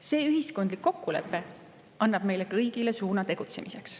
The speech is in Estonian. See ühiskondlik kokkulepe annab meile kõigile kätte suuna tegutsemiseks.